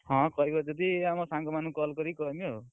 ହଁ, କହିବ ଯଦି ଆମ ସାଙ୍ଗ ମାନଙ୍କୁ call କରି କହିବା ଆଉ।